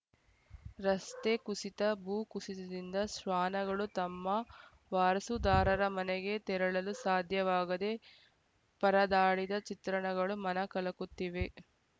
ರಸ್ತೆ ಕುಸಿತ ಭೂ ಕುಸಿತದಿಂದ ಶ್ವಾನಗಳೂ ತಮ್ಮ ವಾರಸುದಾರರ ಮನೆಗೆ ತೆರಳಲು ಸಾಧ್ಯವಾಗದೆ ಪರದಾಡಿದ ಚಿತ್ರಣಗಳು ಮನ ಕಲಕುತ್ತಿವೆ